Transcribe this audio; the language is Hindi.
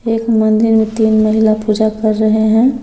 एक मंदिर में तीन महिला पूजा की रहे हैं।